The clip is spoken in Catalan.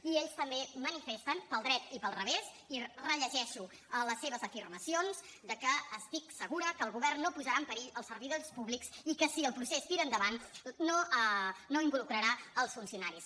i ells també manifesten pel dret i pel revés i rellegeixo les seves afirmacions estic segura que el govern no posarà en perill els servidors públics i que si el procés tira endavant no hi involucrarà els funcionaris